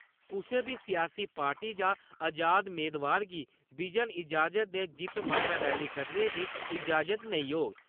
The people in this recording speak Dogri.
कुसै बी सियासी पार्टी जां आजाद मेदवार गी बिजन ईजाजत दे जित्त मगरा रैली कड्ढने दी ईजाजत नेईं होग ।